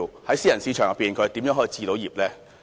在私人市場當中，他們如何能夠置業呢？